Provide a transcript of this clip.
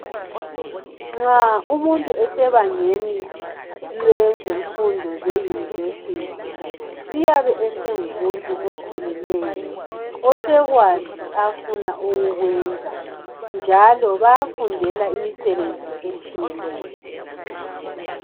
Nxa umuntu esebangeni lwezemfundo ze-univesity. Uyabe esengumuntu okhulileyo osekwazi afuna ukukwenza, njalo bayafundela imisebenzi etshiyeneyo.